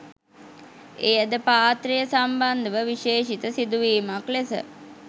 එයද පාත්‍රය සම්බන්ධව විශේෂිත සිදුවීමක් ලෙස